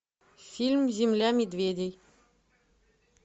фильм земля медведей